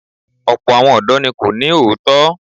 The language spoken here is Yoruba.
Ọ̀pọ̀ àwọn ọ̀dọ́ ní kò ní òótọ́.